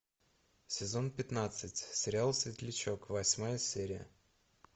сезон пятнадцать сериал светлячок восьмая серия